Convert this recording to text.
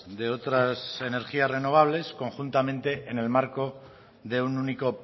de otras energías renovables conjuntamente en el marco de un único